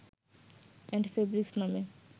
and fabrics নামে